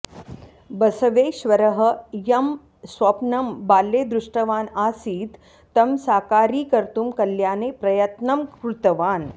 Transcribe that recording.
बसवेश्वरः यं स्वप्नं बाल्ये दृष्टवान् आसीत् तं साकारीकर्तुं कल्याणे प्रयत्नं कृतवान्